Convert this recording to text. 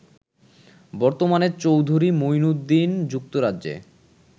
বর্তমানে চৌধুরী মুঈনুদ্দীন যুক্তরাজ্যে